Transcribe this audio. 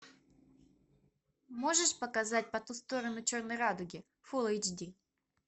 можешь показать по ту сторону черной радуги фулл эйч ди